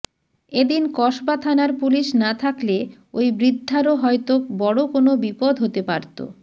এ দিন কসবা থানার পুলিশ না থাকলে ওই বৃদ্ধারও হয়তো বড় কোনও বিপদ হতে পারত